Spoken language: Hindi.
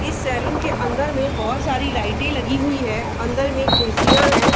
इस सैलून के अंदर में बहोत सारी लाइटें लगी हुई है अंदर में कुर्सियाँ हैं।